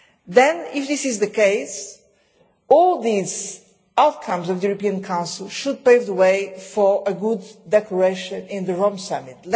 Then, if this is the case, all these outcomes of the European Council should pave the way for a good declaration at the Rome Summit.